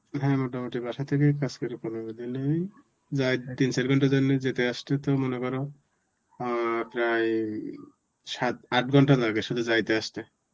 হ্যাঁ মোটামুটি বাসা থেকেই কাজ করে পনেরো দিনেই যায় তিন চার ঘন্টার জন্য যেতে আসতে তো মনে করো অ্যাঁ প্রায় উম সাত~ আট ঘণ্টা লাগে শুধু যাইতে আসতে.